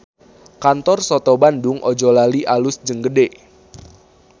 Kantor Soto Bandung Ojolali alus jeung gede